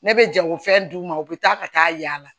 Ne bɛ jagofɛn d'u ma u bɛ taa ka taa yaala